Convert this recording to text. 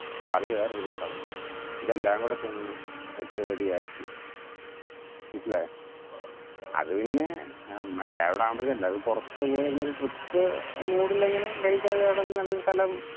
കറി വേറൊരു കുട്ടകം, ഇതെല്ലം കൂടെ ചെന്ന് set ready ആക്കി, മനസ്സിലായോ? അത് പിന്നെ, എല്ലാവരുണ്ടാവുമ്പോഴത്തെ എല്ലാരുടെ പുറത്തു പോയിരുന്നൊരു trip mood ഇൽ ഇങ്ങനെ കഴിക്കാൻ ഏതെങ്കിലും നല്ലൊരു സ്ഥലം